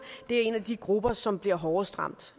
er en af de grupper som bliver hårdest ramt